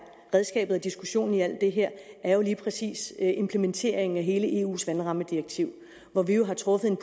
redskabet og diskussionen i alt det her er lige præcis implementeringen af hele eus vandrammedirektiv hvor vi jo har truffet en